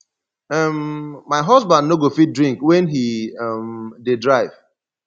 um my husband no go fit drink wen he um dey drive